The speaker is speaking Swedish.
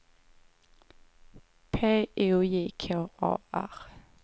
P O J K A R